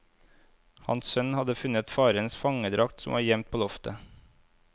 Hans sønn hadde funnet farens fangedrakt som var gjemt på loftet.